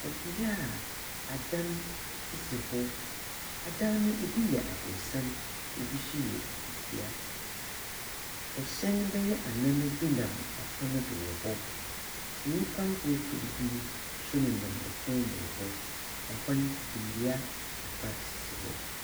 Bea a adan sisi hɔ: adan no, bi yɛ aborɔsan, bi so efitsia. Hɛn bɛyɛ anan bi nam kwan do wɔ hɔ, nyimpa nkorkor bi so nam kwan do wɔ hɔ. Hɔ no, ndua kakra sisi hɔ.